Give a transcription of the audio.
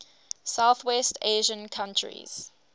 southwest asian countries